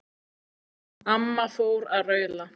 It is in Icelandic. Amma fór að raula.